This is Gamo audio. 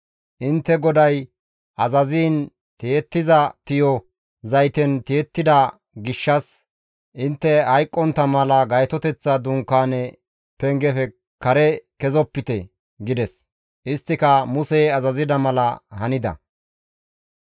Intte GODAY azaziin tiyettiza tiyo zayten tiyettida gishshas intte hayqqontta mala Gaytoteththa Dunkaane pengefe kare kezopite» gides. Isttika Musey azazida mala hanida.